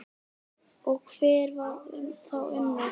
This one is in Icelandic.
Og hver var þá Unnur?